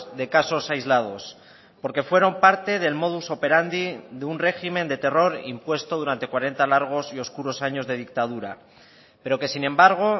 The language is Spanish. de casos aislados porque fueron parte del modus operandi de un régimen de terror impuesto durante cuarenta largos y oscuros años de dictadura pero que sin embargo